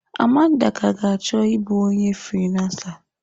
Amanda ka ga achọ ịbụ onye friiransa.